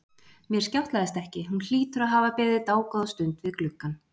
Mér skjátlaðist ekki, hún hlýtur að hafa beðið dágóða stund við gluggann.